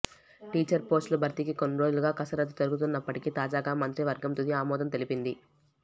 teacher పోస్లుల భర్తీకి కొన్ని రోజులుగా కసరత్తు జరుగుతున్నప్పటికి తాజాగా మంత్రి వర్గం తుది ఆమోదం తెలిపింది